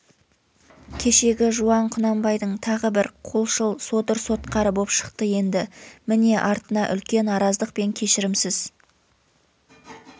кешегі жуан құнанбайдың тағы бір қолшыл содыр-сотқары боп шықты енді міне артына үлкен араздық пен кешірімсіз